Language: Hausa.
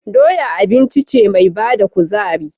Doya abinci ce me bada kuzari